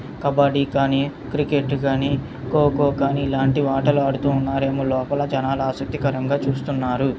చిత్రం చూడండి సముద్రం పక్కనే విధంగా ఉన్నాయి .ఇది సముద్రంల--